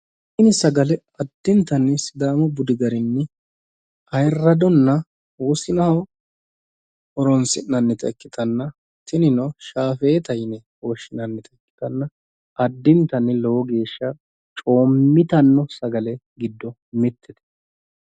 Tini sagale addintanni sidaamu budi garinni ayyradonna wosinaho horonsi'nanni ikkitanna tinino shaafeta yine woshshinannita ikkitanna addintanni lowo geeshsha coommitanno sagale giddo mittete.